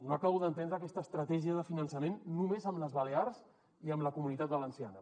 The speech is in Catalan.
no acabo d’entendre aquesta estratègia de finançament només amb les ba·lears i amb la comunitat valenciana